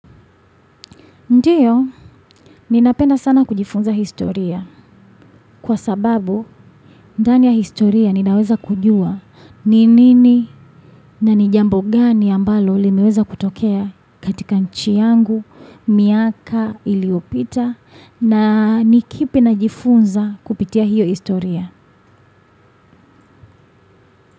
Ndiyo, ninapenda sana kujifunza historia kwa sababu ndani ya historia ninaweza kujua ni nini na ni jambo gani ambalo limeweza kutokea katika nchi yangu, miaka, iliyopita na ni kipi najifunza kupitia hiyo historia.